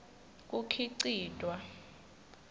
kukhicitwa